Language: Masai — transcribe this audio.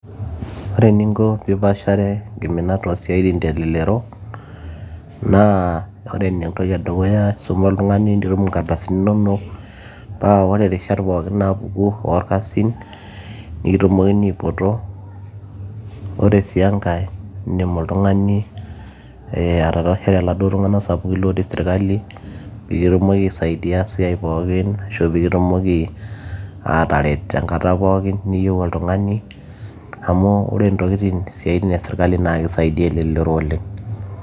ore eninko piipashare inkiminat oosiaitin telelero naa ore entoki edukuya naa isuma oltung'ani nitum inkardasini inonok paa ore irishat pookin naapuku orkasin nikitumokini aipoto ore sii enkay indim oltung'ani atatashare iladuo tung'anak sapukin piikitumoki aisaidia esiai pookin ashu peekitumoki ataret tenkata pookin niyieu oltung'ani amu ore intokitin isiaitin e sirkali naa kisaidiyia elelero oleng.